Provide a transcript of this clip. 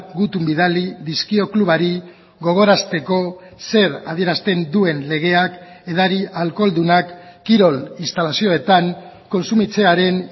gutun bidali dizkio klubari gogorazteko zer adierazten duen legeak edari alkoholdunak kirol instalazioetan kontsumitzearen